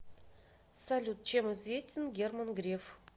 салют чем известен герман греф